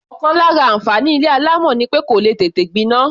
Ọ̀kan lára àǹfààní ilé alámọ̀ ni pé kò lè tètè gbiná.